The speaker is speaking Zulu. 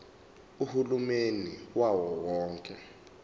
uhulumeni wawo wonke